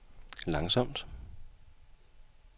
langsomt